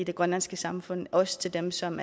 i det grønlandske samfund også til dem som